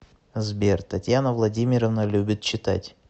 сбер татьяна владимировна любит читать